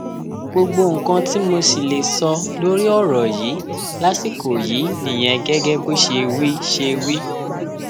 gbogbo nǹkan tí mo sì lè sọ lórí ọrọ yìí lásìkò yìí nìyẹn gẹgẹ bó ṣe wí ṣe wí